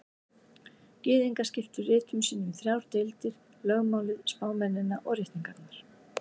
Gyðingar skiptu ritum sínum í þrjár deildir: Lögmálið, spámennina og ritningarnar.